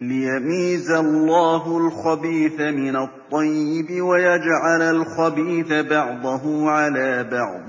لِيَمِيزَ اللَّهُ الْخَبِيثَ مِنَ الطَّيِّبِ وَيَجْعَلَ الْخَبِيثَ بَعْضَهُ عَلَىٰ بَعْضٍ